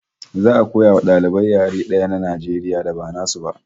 Za'a koya wa dalibai yare daya na Najeriya da ba nasu ba